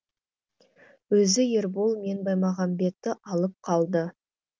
өзі ербол мен баймағамбетті алып қалды